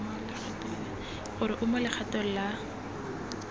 gore o mo legatong la